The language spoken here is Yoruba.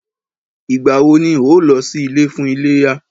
Ìgbà wọ ni o lọ sí ilé fún iléyá?